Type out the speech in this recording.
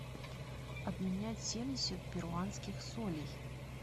обменять семьдесят перуанских солей